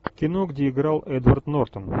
кино где играл эдвард нортон